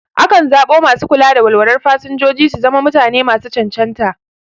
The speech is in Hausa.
Akan zaɓo masu kula da walwalar fasinjoji su zama mutane masu cancanta.